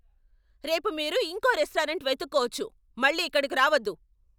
రేపు మీరు ఇంకో రెస్టారెంట్ వెతుక్కోవచ్చు. మళ్ళీ ఇక్కడికి రావద్దు.